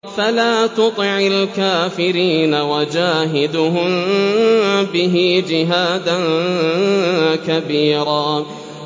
فَلَا تُطِعِ الْكَافِرِينَ وَجَاهِدْهُم بِهِ جِهَادًا كَبِيرًا